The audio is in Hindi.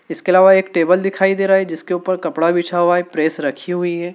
इसके अलावा एक टेबल दिखाई दे रहा है जिसके ऊपर कपड़ा बिछा हुआ है प्रेस रखी हुई है।